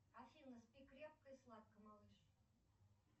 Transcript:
афина спи крепко и сладко малыш